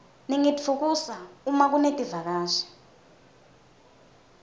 ningitfukusa uma kunetivakashi